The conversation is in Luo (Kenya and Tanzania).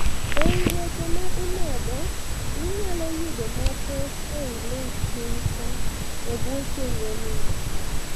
eii weche maa imedo, inyalo yudo mathoth ei link piny kaa ee buo chenro ni